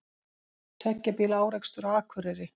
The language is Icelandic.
Tveggja bíla árekstur á Akureyri